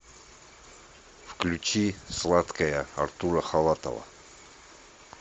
включи сладкая артура халатова